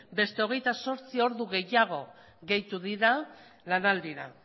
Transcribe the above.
beste hogeita zortzi ordu gehiago gehitu dira lanaldira